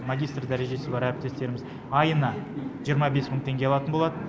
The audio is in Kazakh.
магистр дәрежесі бар әріптестеріміз айына жиырма бес мың теңге алатын болады